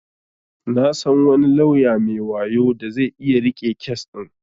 Na san wani lauya mai wayo da zai iya riƙe kes din.